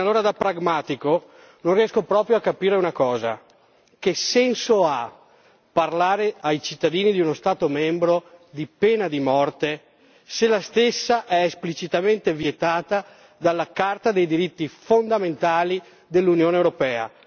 Bene, allora da pragmatico non riesco proprio a capire una cosa che senso ha parlare ai cittadini di uno Stato membro di pena di morte se la stessa è esplicitamente vietata dalla Carta dei diritti fondamentali dell'Unione europea?